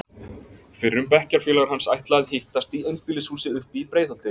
Fyrrum bekkjarfélagar hans ætla að hittast í einbýlishúsi uppi í Breiðholti.